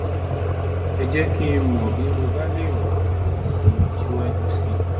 ẹ jẹ́ kí n mọ̀ bí mo bá lè ràn lè ràn yín lọ́wọ́ síwájú sí i